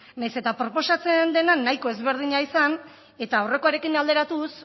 nahiz eta proposatzen denean nahiko ezberdina izan eta aurrekoarekin alderatuz